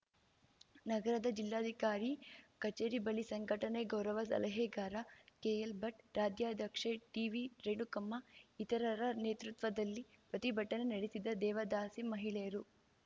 ನಗರದ ಜಿಲ್ಲಾಧಿಕಾರಿ ಕಚೇರಿ ಬಳಿ ಸಂಘಟನೆ ಗೌರವ ಸಲಹೆಗಾರ ಕೆಎಲ್‌ಭಟ್‌ ರಾಜ್ಯಾಧ್ಯಕ್ಷೆ ಟಿವಿರೇಣುಕಮ್ಮ ಇತರರ ನೇತೃತ್ವದಲ್ಲಿ ಪ್ರತಿಭಟನೆ ನಡೆಸಿದ ದೇವದಾಸಿ ಮಹಿಳೆಯರು